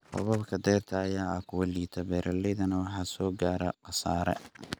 Roobabka dayrta ayaa ahaa kuwa liita, beeralaydana waxaa soo gaaray khasaare.